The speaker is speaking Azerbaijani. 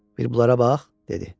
Bir bunlara bax," dedi.